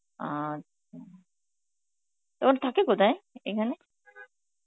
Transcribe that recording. আচ্ছা, তো ও থাকে কোথায় এখানে?